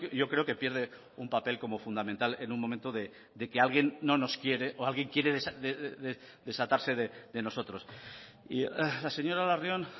yo creo que pierde un papel como fundamental en un momento de que alguien no nos quiere o alguien quiere desatarse de nosotros y la señora larrion